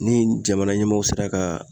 Ni jamana ɲɛmɔɔw sera ka